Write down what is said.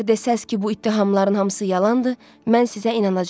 Əgər desəz ki, bu ittihamların hamısı yalandır, mən sizə inanacam.